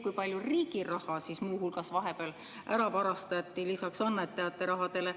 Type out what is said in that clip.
Kui palju muu hulgas ka riigi raha vahepeal ära varastati lisaks annetajate rahale?